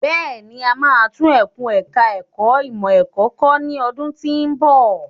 Bẹ́ẹ̀ni, a máa tún ẹkùn ẹ̀ka ẹ̀kó ìmọ̀ ẹ̀kọ́ kọ́ ní ọdún tí ń bọ̀.